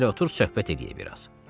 Gəl otur söhbət eləyək biraz.